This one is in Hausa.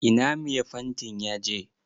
Ina mai fantin ya je?